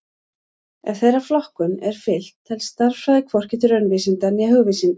Ef þeirri flokkun er fylgt telst stærðfræði hvorki til raunvísinda né hugvísinda.